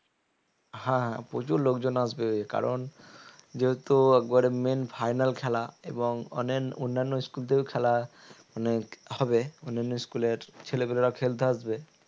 হাঁ প্রচুর লোকজন আসবে কারন যেহেতু একবারে main final খেলা এবং অনেক অন্যান্য school থেকেও খেলা মানে হবে অন্যান্য school এর ছেলেগুলোরাও খেলতে আসবে